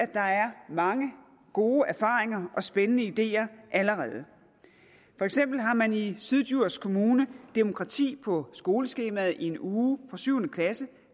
der er mange gode erfaringer og spændende ideer allerede for eksempel har man i syddjurs kommune demokrati på skoleskemaet i en uge fra syvende klasse